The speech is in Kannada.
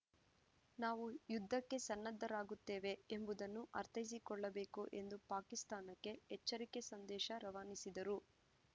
ನಾವು ಯುದ್ಧಕ್ಕೆ ಸನ್ನದ್ಧರಾಗಿರುತ್ತೇವೆ ಎಂಬುದನ್ನು ಅರ್ಥೈಸಿಕೊಳ್ಳಬೇಕು ಎಂದು ಪಾಕಿಸ್ತಾನಕ್ಕೆ ಎಚ್ಚರಿಕೆ ಸಂದೇಶ ರವಾನಿಸಿದರು